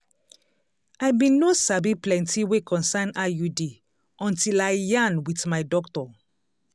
i bin no sabi plenti wey concern iud until i yarn wit my doctor